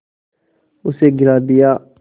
उसे गिरा दिया